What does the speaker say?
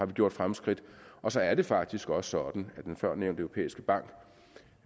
gjort fremskridt og så er det faktisk også sådan at den førnævnte europæiske bank